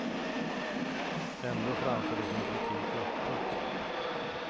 Ändå framför de sin kritik öppet.